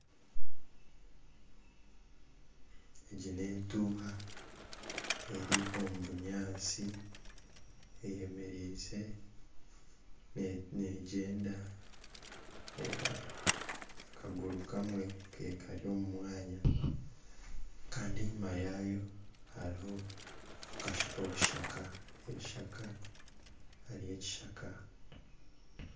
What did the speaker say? Egi n'entuuha eri omu binyaatsi, neegyenda. Reeba akaguru kamwe kari omu mwanya. Kandi enyima yaayo hariho obushaka ebishaka. Hariyo ekishaka.